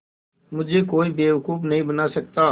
मुझे कोई बेवकूफ़ नहीं बना सकता